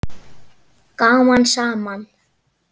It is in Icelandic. Gaman saman.